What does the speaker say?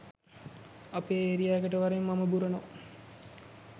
අපේ ඒරියා එකට වරෙන් මම බුරනවා